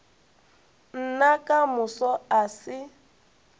nna ka moso a se